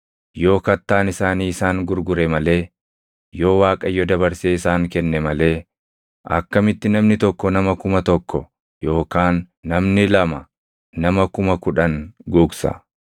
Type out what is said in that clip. Yoo Kattaan isaanii isaan gurgure malee, yoo Waaqayyo dabarsee isaan kenne malee, akkamitti namni tokko nama kuma tokko yookaan namni lama nama kuma kudhan gugsa?